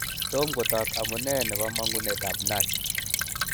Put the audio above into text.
Tom kotok amune nebomong'unetab NASH.